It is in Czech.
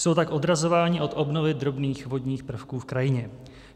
Jsou tak odrazováni od obnovy drobných vodních prvků v krajině.